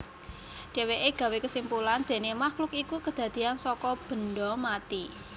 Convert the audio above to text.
Dhéwéké gawé kesimpulan déné makhluk iku kedadéyan saka banda mati